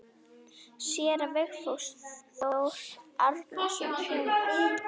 Séra Vigfús Þór Árnason þjónar.